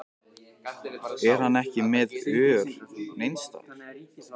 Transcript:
Er hann ekki með ör neins staðar?